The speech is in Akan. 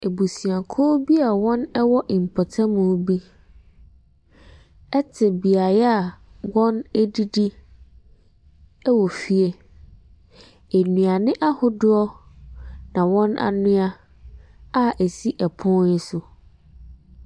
Abusuakuo bi a wɔwɔ mpotam bi te beaeɛ a wɔdidi wɔ fie. Aduane ahodoɔ na wɔn anoa a ɛsi pono so.